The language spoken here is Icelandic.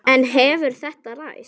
En hefur þetta ræst?